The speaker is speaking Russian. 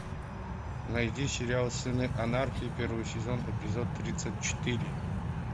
найди сериал сыны анархии первый сезон эпизод тридцать четыре